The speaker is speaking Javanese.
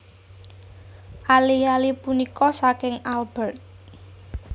Ali ali punika saking Albert